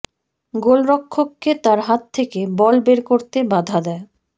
গোলরক্ষককে তার হাত থেকে বল বের করতে বাধা দেয়